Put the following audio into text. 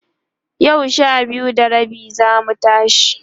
yau Sha biyu da rabi zamu tashi